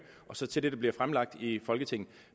og så til det der bliver fremlagt i folketinget